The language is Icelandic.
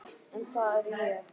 En það er ég.